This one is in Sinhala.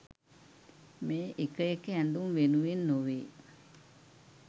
මේ එක එක ඇඳුම් වෙනුවෙන් නොවේ.